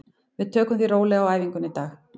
Við tökum því rólega á æfingunni í dag.